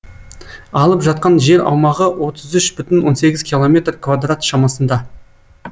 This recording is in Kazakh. алып жатқан жер аумағы отыз үш бүтін жүзден сегіз километр квадрат шамасында